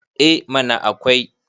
eh mana akwai